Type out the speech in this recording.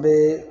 N bɛ